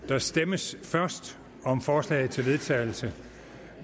der stemmes først om forslag til vedtagelse